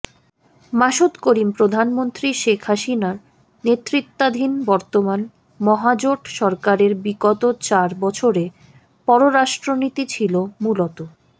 মাসুদ করিম প্রধানমন্ত্রী শেখ হাসিনার নেতৃত্বাধীন বর্তমান মহাজোট সরকারের বিগত চার বছরে পররাষ্ট্রনীতি ছিল মূলত